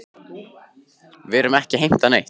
Við erum ekki að heimta neitt.